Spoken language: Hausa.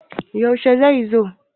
yaushe zai zo?